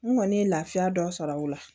N kɔni ye lafiya dɔ sɔrɔ o la